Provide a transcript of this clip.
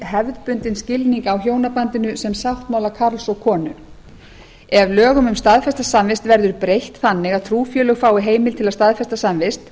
hefðbundinn skilning á hjónabandinu sem sáttmála karls og konu ef lögum um staðfesta samvist verður breytt þannig að trúfélög fái heimild til að staðfesta samvist